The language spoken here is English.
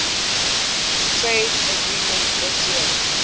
trade agreement fta